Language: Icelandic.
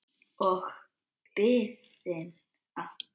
Og biðina.